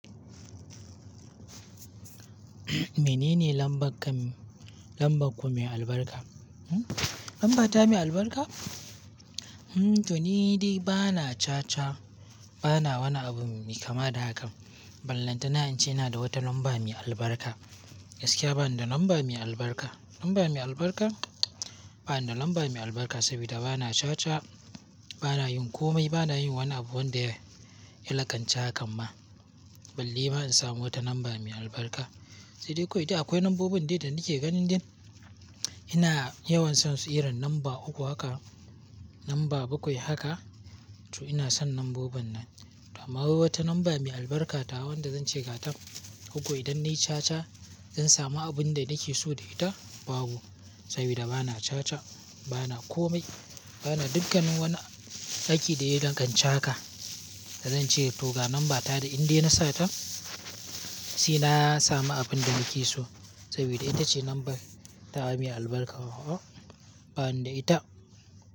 Mene ne lamban ka-- lamban ku mai albarka? Hm? Lambata mai albarka? Hm, to ni di bana caca, bana wani abu me kama da hakan. Ballanta na'a inca ina da wata lambar mai albarka. Gaskiya bani da lamban mai albarka? Lambar mai albarka? Bana da lamba mai albarka saboda bana caca, bana yin komai, bana yin wani abu wanda ya lakanci hakan ma. Balle ma in samu wata lamba mai albarka. Sai dai ko idan akwai lambobin dai da nake ganin din, ina yawan son su irin lamba uku hakan, lamba bakwai hakan. To ina son lambobin nan. To amma wai wata lambar mai albarka tawa wanda zan ce gatan. Ko ko idan nai caca zan samu abin da nake so da ita, babu. Saboda bana caca, bana komai, bana dukkanin wani aiki da ya lakanci haka. Da zan ce to ga lambata da in dai na sata sai samu abin da nake so. Saboda ita ce lambar ta mai albarka a'a bana da ita.